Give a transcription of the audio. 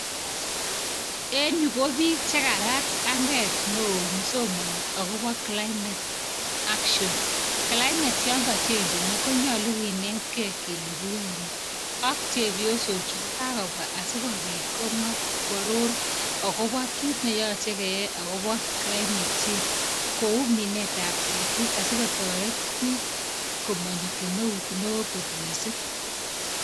en yu kobiik chekarat anget neo somani akobo climate action climate yangachenjen konyolu kenetkei kele kiyae ne. ak chepyosok chu kokakobwa asikobit komwa koaror akoba kit neyache keyai akobo climate change kouu minet ap ketik asikotoret biik komanyo kemeut neoo kot miising'